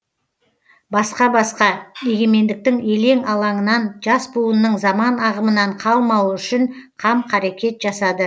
басқа басқа егемендіктің елең алаңынан жас буынның заман ағымынан қалмауы үшін қам қарекет жасады